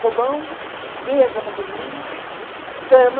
Fogão, mesa para a cozinha, cama,